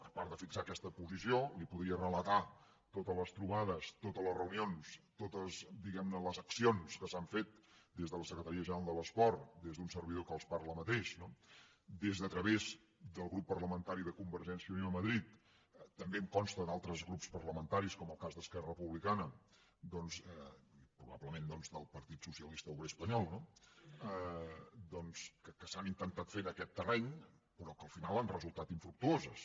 a part de fixar aquesta posició li podria relatar totes les trobades totes les reunions totes diguem ne les accions que s’han fet des de la secretaria general de l’esport des d’un servidor que els parla mateix des de a través del grup parlamentari de convergència i unió a madrid també em consta d’altres grups parlamentaris com el cas d’esquerra republicana i probablement doncs del partit socialista obrer espanyol no que s’han intentat fer en aquest terreny però que al final han resultat infructuoses